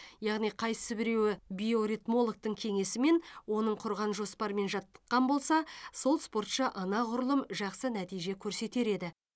яғни қайсы біреуі биоритмологтың кеңесімен оның құрған жоспарымен жаттыққан болса сол спортшы анағұрлым жақсы нәтиже көрсетер еді